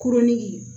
Kuruntigi